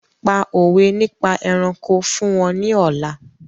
Pa òwé nípa ẹranko fún wọn ní ọ̀la!